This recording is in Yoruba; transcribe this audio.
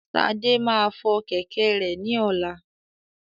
Ṣadé máa fọ kẹ̀kẹ́ rẹ ní ọlá.